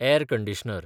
air conditioner